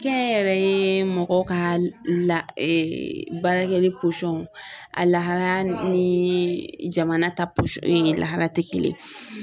Kɛnyɛrɛye mɔgɔ ka la baarakɛli a lahala ni jamana ta posɔn lahala tɛ kelen ye.